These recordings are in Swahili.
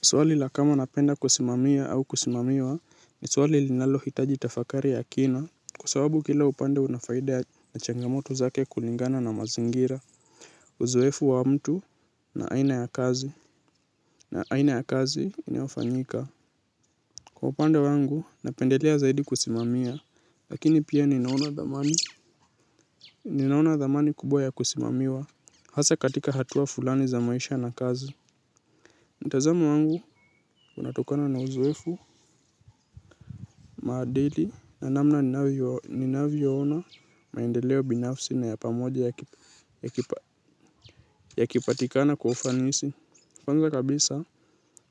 Swali la kama napenda kusimamia au kusimamiwa, ni swali linalohitaji tafakari ya kina kwa sababu kila upande una faida na changamoto zake kulingana na mazingira. Uzoefu wa mtu na aina ya kazi, na aina ya kazi inayofanyika. Kwa upande wangu, napendelea zaidi kusimamia, lakini pia ninaona dhamani kubwa ya kusimamiwa hasa katika hatua fulani za maisha na kazi. Mtazamo wangu unatokana na uzoefu, maadili na namna ninavyoona maendeleo binafsi na ya pamoja yakipatikana kwa ufanisi. Kupanga kabisa,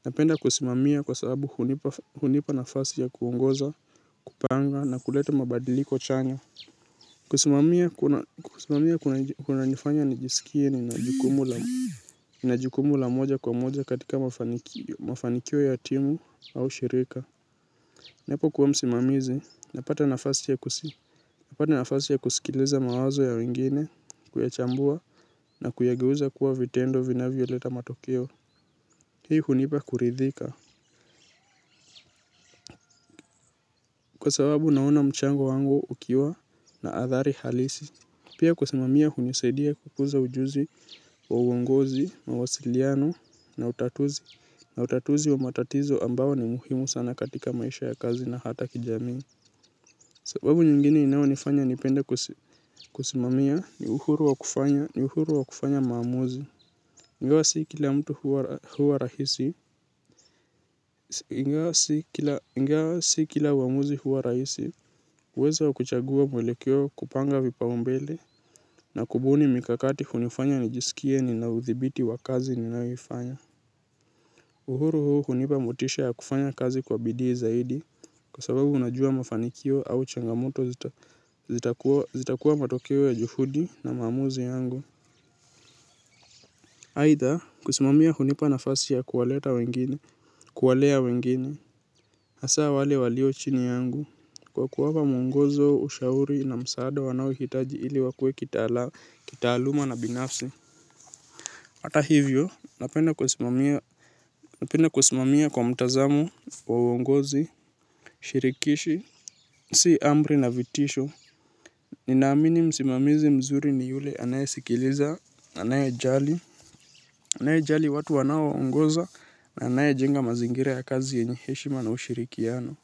napenda kusimamia kwa sababu hunipa nafasi ya kuongoza, kupanga na kuleta mabadiliko chanya. Kusimamia kunanifanya nijisikie nina jukumu la moja kwa moja katika mafanikio ya timu au shirika. Napokuwa msimamizi, napata nafasi ya kusikiliza mawazo ya wengine, kuyachambua na kuyageuza kuwa vitendo vinavyoleta matokeo. Hii hunipa kuridhika. Kwa sababu naona mchango wangu ukiwa na athari halisi. Pia kusimamia hunisaidia kukuza ujuzi wa uongozi, mawasiliano na utatuzi. Na utatuzi wa matatizo ambao ni muhimu sana katika maisha ya kazi na hata kijamii. Sababu nyingine inayonifanya nipende kusimamia, ni uhuru wa kufanya maamuzi. Ingawa si kila mtu huwa, huwa rahisi, ingawa si kila, ingawa si kila uamuzi huwa rahisi uwezo wa kuchagua mwelekeo, kupanga vipaumbele. Na kubuni mikakati hunifanya nijisikie nina uthibiti wa kazi ninayoifanya. Uhuru huu hunipa motisha ya kufanya kazi kwa bidii zaidi. Kwa sababu unajua mafanikio au changamoto zitakuwa matokeo ya juhudi na maamuzi yangu. Aitha, kusimamia hunipa nafasi ya kuwaleta wengine, kuwalea wengine, hasa wale walio chini yangu kwa kuwapa muongozo, ushauri na msaada wanaohitaji ili wakuwe kitaala, kitaaluma na binafsi. Hata hivyo, napenda kusimamia kwa mtazamo, wa uongozi, shirikishi, si amri na vitisho. Ninaamini msimamizi mzuri ni yule anayesikiliza, anayejali, anayejali watu wanaoongoza, na anayejenga mazingira ya kazi yenye heshima na ushirikiano.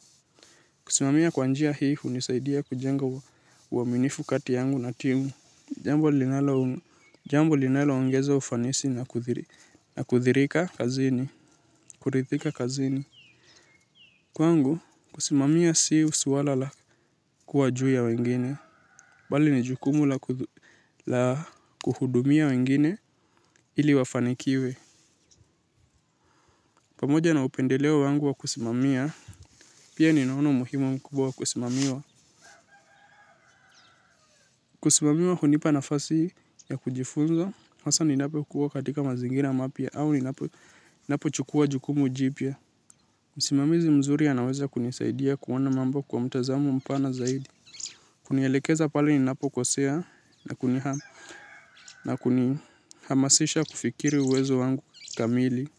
Kusimamia kwa njia hii hunisaidia kujenga uaminifu kati yangu na timu. Jambo linalo jambo linaloongeza ufanisi na kuthirika kazini, kurithika kazini. Kwangu, kusimamia si suala la kuwa juu ya wengine, bali ni jukumu la kuhudumia wengine ili wafanikiwe. Pamoja na upendeleo wangu wa kusimamia, pia ninaona umuhimu mkubwa wa kusimamiwa. Kusimamiwa hunipa nafasi ya kujifunza, hasa ninapokuwa katika mazingira mapya au ninapo, napochukua jukumu jipya. Msimamizi mzuri anaweza kunisaidia kuona mambo kwa mtazamo mpana zaidi. Kunielekeza pale ninapokosea na kunihamasisha kufikiri uwezo wangu kamili.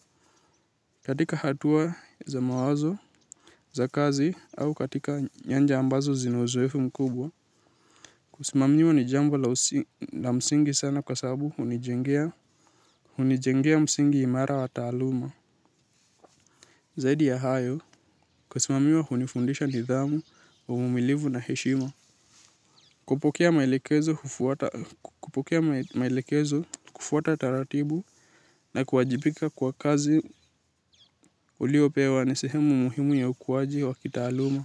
Katika hatua za mawazo za kazi au katika nyanja ambazo zina uzoefu mkubwa kusimamiwa ni jambo la msingi sana kwa sababu hunijengea, hunijengea msingi imara wa taaluma. Zaidi ya hayo kusimamiwa hunifundisha nidhamu, uvumilivu na heshima. Kupokea maelekezo kufuata taratibu, na kuwajibika kwa kazi uliyopewa ni sehemu muhimu ya ukuwaji wa kitaaluma.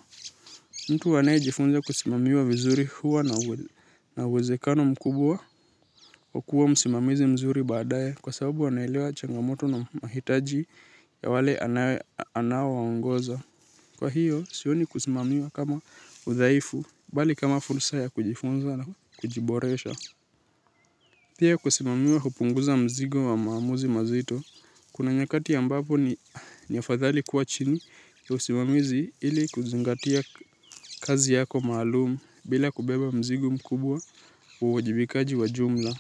Mtu anayejifunza kusimamiwa vizuri huwa na uwezekano mkubwa, wa kuwa msimamizi mzuri baadaye kwa sababu wanaelewa changamoto na mahitaji ya wale anaowaongoza. Kwa hiyo, sioni kusimamiwa kama udhaifu, bali kama fursa ya kujifunza na kujiboresha. Pia kusimamiwa hupunguza mzigo wa maamuzi mazito, kuna nyakati ambapo ni afadhali kuwa chini ya usimamizi ili kuzingatia kazi yako maalum bila kubeba mzigo mkubwa wa uwajibikaji wa jumla.